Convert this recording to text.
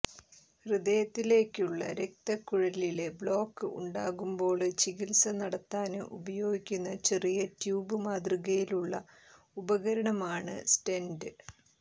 ഹൃദയത്തിലേക്കുള്ള രക്തക്കുഴലില് ബ്ളോക്ക് ഉണ്ടാകുമ്പോള് ചികിത്സ നടത്താന് ഉപയോഗിക്കുന്ന ചെറിയ ട്യൂബ് മാതൃകയിലുള്ള ഉപകരണമാണ് സ്റ്റെന്റ്